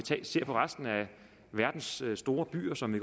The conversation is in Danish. ser på resten af verdens store byer som vi